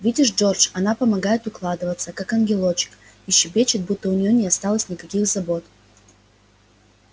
видишь джордж она помогает укладываться как ангелочек и щебечет будто у нее не осталось никаких забот